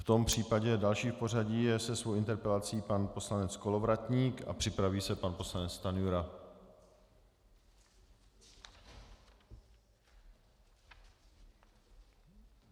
V tom případě další v pořadí je se svou interpelací pan poslanec Kolovratník a připraví se pan poslanec Stanjura.